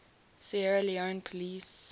sierra leone police